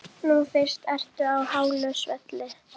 Nú fyrst ertu á hálu svelli.